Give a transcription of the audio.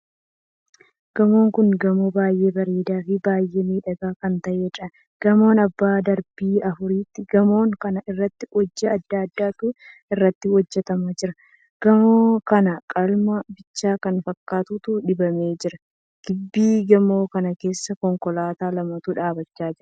Gamoon kun gamoo baay'ee bareedaa fi baay'ee miidhagaa kan taheedha. gamoon abbaa darbii afuriiti. gamoon kana irratti hojii addaa addaatu irratti hojjetama jira. gamoon kana qalama bicaa kan fakkaatutu dibamee jira. gibbii gamoo kanaa keessa konkolaataa lamatu dhaabbachaa jira.